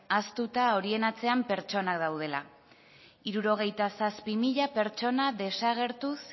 ahaztuta horien atzean pertsonak daudela hirurogeita zazpi mila pertsona desagertuz